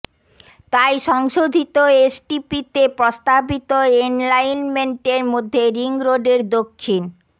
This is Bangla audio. তাই সংশোধিত এসটিপিতে প্রস্তাবিত এলাইনমেন্টের মধ্যে রিং রোডের দক্ষিণ